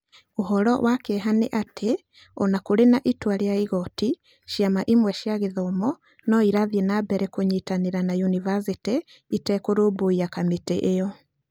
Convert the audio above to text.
"Ũhoro wa kĩeha nĩ atĩ, o na kũrĩ na itua rĩa igooti, ciama imwe cia gĩthomo no irathiĩ na mbere kũnyitanĩra na yunivasĩtĩ itekũrũmbũiya kamĩtĩ ĩyo.